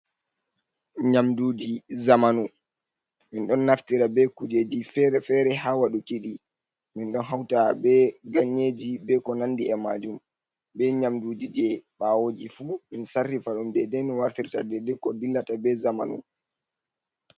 Nyamduji zamanu min ɗo naftira be kujeji fere fere ha waɗuki ɗi min ɗo hauta be ganyeji be ko nandi be majum be nyamduji je ɓawoji fu min sarrifa ɗum dede no wartirta dede ko dillata be zamanu.